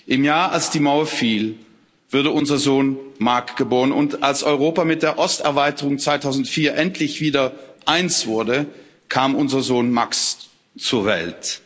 Im Jahr, als die Mauer fiel, wurde unser Sohn Mark geboren, und als Europa mit der Osterweiterung 2004 endlich wieder eins wurde, kam unser Sohn Max zur Welt.